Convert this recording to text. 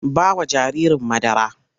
Ba wa jaririn madara!